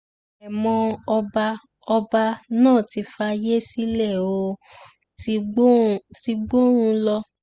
àrèmọ ọba ọba náà ti fàyè sílẹ̀ ó ti gbọ́run lọ